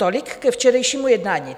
Tolik ke včerejšímu jednání.